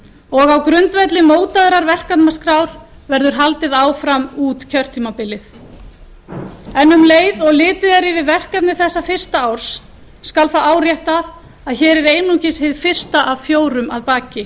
og á grundvelli mótaðrar verkefnaskrár verður haldið áfram út kjörtímabilið um leið og litið er yfir verkefni þessa fyrsta árs skal það áréttað að hér er einungis hið fyrsta af fjórum að baki